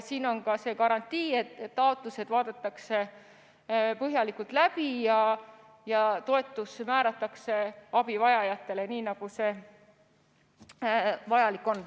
Siin on see garantii, et taotlused vaadatakse põhjalikult läbi ja toetus määratakse nendele, kellel seda vaja on.